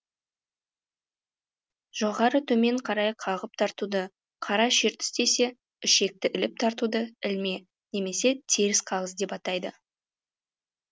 жоғары төмен қарай қағып тартуды қара шертіс десе ішекті іліп тартуды ілме немесе теріс қағыс деп атайды